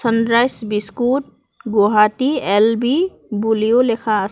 Sunrise biscuit Guwahati L B বুলিও লেখা আছে।